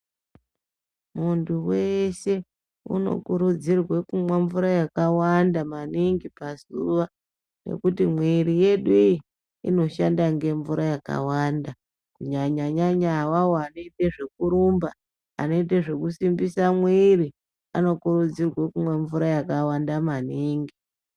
Muntu weshe unokurudzirwa kumwa mvura yakawanda maningi pazuva ngekuti mwiri yedu iyi inoshanda ngemvura yakawanda kunyanya nyanya avavo vanoita zvekurumba anoita zvekusimbisa mwiri anokurudzirwa kumwa mvura yakawanda maningi.